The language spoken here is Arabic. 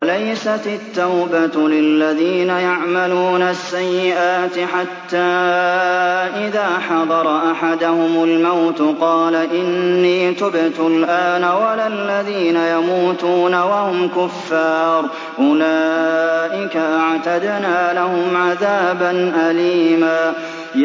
وَلَيْسَتِ التَّوْبَةُ لِلَّذِينَ يَعْمَلُونَ السَّيِّئَاتِ حَتَّىٰ إِذَا حَضَرَ أَحَدَهُمُ الْمَوْتُ قَالَ إِنِّي تُبْتُ الْآنَ وَلَا الَّذِينَ يَمُوتُونَ وَهُمْ كُفَّارٌ ۚ أُولَٰئِكَ أَعْتَدْنَا لَهُمْ عَذَابًا أَلِيمًا